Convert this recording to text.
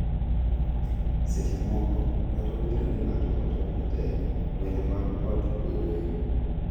Seche moko, kata obedo ni ng’ato otemo matek, lwenje mag ot bedoe .